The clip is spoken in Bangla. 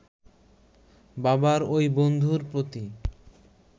বাবার ঐ বন্ধুর প্রতি